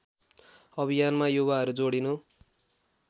अभियानमा युवाहरू जोडिनु